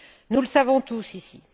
Nous le savons tous, ici.